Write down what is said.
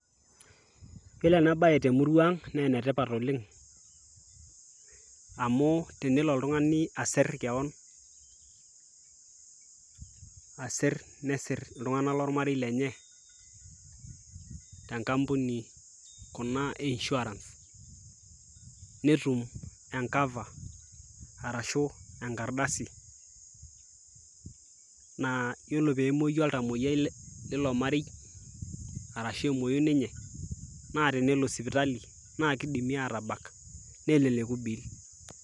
iyiolo ena bae temurua ang naa ene tipat oleng amu tenelo oltungani asir kewon, asir, nesir iltunganak lolmarei lenye, te nkampuni kuna e insurance .netum cover arashu enkardasi naa iyiolo pee emuoi oltamoyiai leilo marei ashu emuoi, ninye, naa tenelo sipitali kidimi aatabak, neleleku bei.